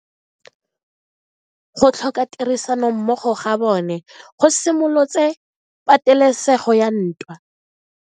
Go tlhoka tirsanommogo ga bone go simolotse patelesego ya ntwa.